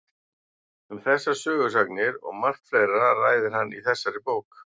Um þessar sögusagnir og margt fleira ræðir hann í þessari bók.